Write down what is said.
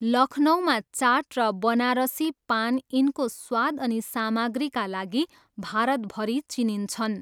लखनऊमा चाट र बनारसी पान यिनको स्वाद अनि सामग्रीका लागि भारतभरि चिनिन्छन्।